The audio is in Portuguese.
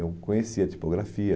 Eu conhecia a tipografia.